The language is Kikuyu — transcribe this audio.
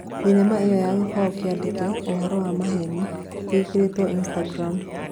Thinema ĩyo ya gibao kĩandĩkĩ," Ũhoro wa maheni" gĩkĩrĩtwo nĩ Instagram